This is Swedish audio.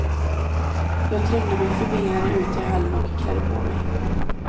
Jag trängde mig förbi henne ut i hallen och klädde på mig.